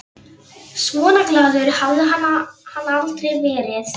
Svona glaður hafði hann aldrei verið.